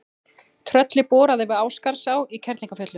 Trölli boraði við Ásgarðsá í Kerlingarfjöllum.